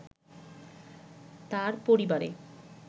তার পরিবারে